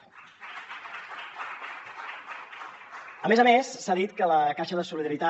a més a més s’ha dit que la caixa de solidaritat